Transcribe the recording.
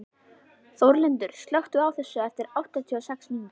Þórlindur, slökktu á þessu eftir áttatíu og sex mínútur.